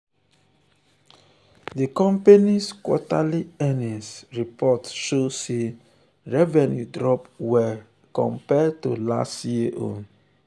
di company's quarterly earnings report show sey revenue drop well compared to last year.